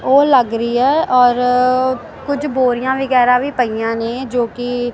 ਉਹ ਲੱਗ ਰਹੀ ਹ ਔਰ ਕੁਝ ਬੋਰੀਆਂ ਵਗੈਰਾ ਵੀ ਪਈਆਂ ਨੇ ਜੋ ਕਿ--